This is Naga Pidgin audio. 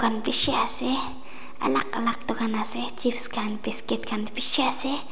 aru bishi ase alag alag dukan ase chips khan biscuit khan bishi ase.